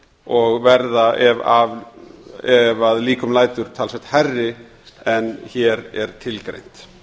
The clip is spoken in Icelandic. og verða ef að líkum lætur talsvert hærri en hér er tilgreint